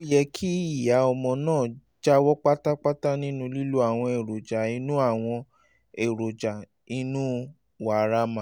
ó yẹ kí ìyá ọmọ náà jáwọ́ pátápátá nínú lílo àwọn èròjà inú àwọn èròjà inú wàrà màlúù